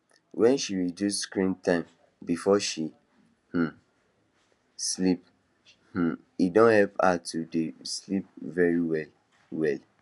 when she reduce screen time before she um sleep um e don help her to dey sleep very well well